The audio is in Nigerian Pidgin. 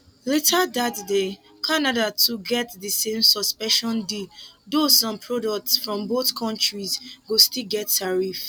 later dat day canada too get di same suspension deal though some products from both kontris go still get tariff